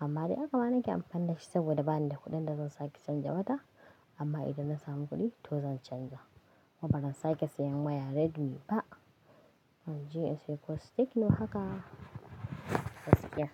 Amma dai haka ba na nake amfani da shi saboda ba ni da kuɗin da zan sake canza wata. Amma idan na samu kuɗi to zan canza. Ba zan sake sayen waya Redmi ba. Zanje inse ko techno haka, gaskiya.